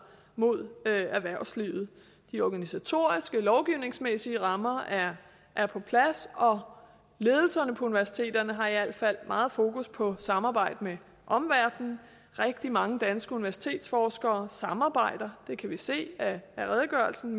mod erhvervslivet de organisatoriske og lovgivningsmæssige rammer er er på plads og ledelserne på universiteterne har i alt fald meget fokus på samarbejde med omverdenen rigtig mange danske universitetsforskere samarbejder med kan vi se af redegørelsen